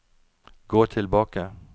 gå tilbake